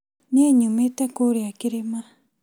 Niĩ nyumĩte kũrĩa kĩrĩma